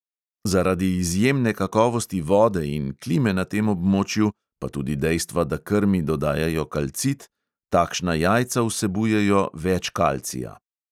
Zaradi izjemne kakovosti vode in klime na tem območju, pa tudi dejstva, da krmi dodajajo kalcit, takšna jajca vsebujejo več kalcija.